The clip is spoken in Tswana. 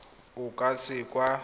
o ka se ka wa